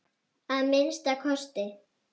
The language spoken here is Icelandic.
Að minnsta kosti.